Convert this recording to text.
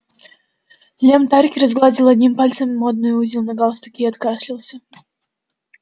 лем тарки разгладил одним пальцем модный узел на галстуке и откашлялся